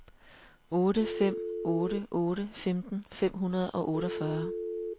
otte fem otte otte femten fem hundrede og otteogfyrre